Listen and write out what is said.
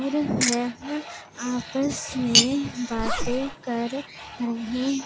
और वह आपस में बातें कर रहे--